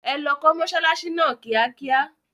Ẹ lọ kó mọsálásí náà kíákíá.